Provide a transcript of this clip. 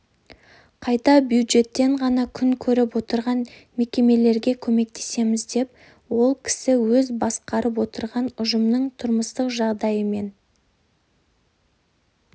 қайта бюджеттен ғана күн көріп отырған мекемлереге көмектесеміз деп ол кісі өзі басқарып отырған ұжымның тұрмыстық жағдайы мен